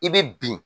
I bɛ bin